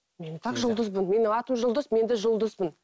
мен и так жұлдызбын менің атым жұлдыз мен де жұлдызбын